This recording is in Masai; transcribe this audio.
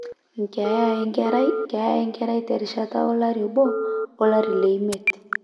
keeya enkerai; keeya enkerai terishata olari obo olari leimiet